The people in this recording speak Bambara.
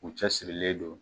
U cɛ sirilen don.